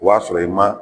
O y'a sɔrɔ i ma